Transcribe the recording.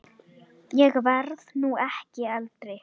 Ég verð nú ekki eldri!